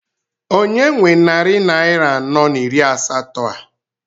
Onye nwe narị naira anọ na iri asatọ a?